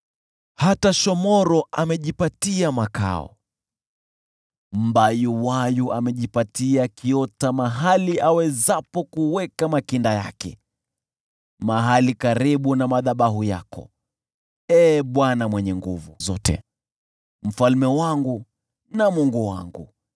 Hata shomoro amejipatia makao, mbayuwayu amejipatia kiota mahali awezapo kuweka makinda yake: mahali karibu na madhabahu yako, Ee Bwana Mwenye Nguvu Zote, Mfalme wangu na Mungu wangu.